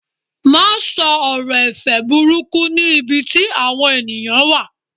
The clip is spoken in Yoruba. ma sọ ọrọ ẹ̀fẹ̀ burúkú ni ibi tí awọn eniyan wa